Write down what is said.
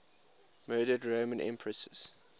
murdered roman empresses